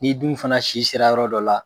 N'i dun fana si sera yɔrɔ dɔ la